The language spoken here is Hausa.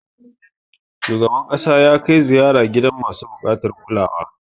Shugaban ƙasa ya kai ziyara gidan masu buƙatar kulawa.